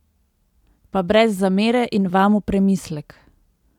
Pa brez zamere in Vam v premislek!